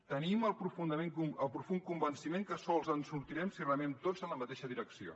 tenim el profund convenciment que sols ens en sortirem si remem tots en la mateixa direcció